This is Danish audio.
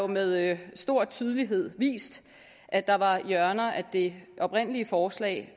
med stor tydelighed vist at der var hjørner af det oprindelige forslag